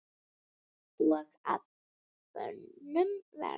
og að bönum verða